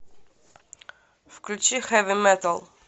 включи хэви метал